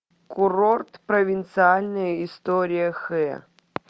курорт провинциальная история хэ